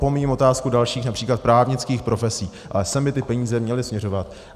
Opomíjím otázku dalších, například právnických profesí, ale sem by ty peníze měly směřovat.